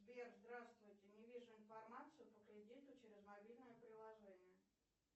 сбер здравствуйте не вижу информацию по кредиту через мобильное приложение